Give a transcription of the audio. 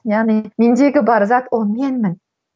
яғни мендегі бар зат ол менмін